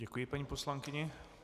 Děkuji paní poslankyni.